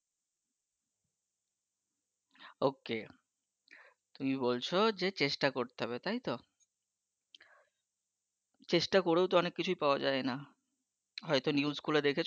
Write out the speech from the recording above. OK তুমি বলছো যে চেষ্টা করতে হবে তাইতো? চেষ্টা করেও তো অনেক কিছুই পাওয়া যায় না, হয়তো খবর গুলো দেখেছো?